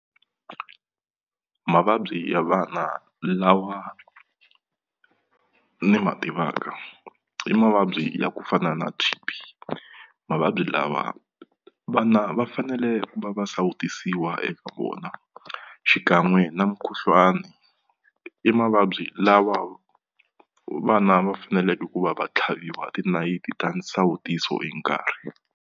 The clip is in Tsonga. Mavabyi ya vana lawa ni ma tivaka i mavabyi ya ku fana na mavabyi lawa vana va fanele ku va va sawutisiwa eka vona xikan'we na mukhuhlwani i mavabyi lawa vana va faneleke ku va va tlhaviwa tinayiti ta nsawutiso hi nkarhi.